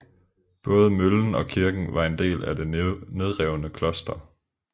Både møllen og kirken var en del af det nedrevne kloster